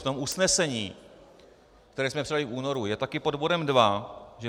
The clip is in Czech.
V tom usnesení, které jsme přijali v únoru, je taky pod bodem 2, že